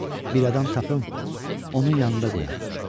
Bir adam tapım, onun yanında qoyaq.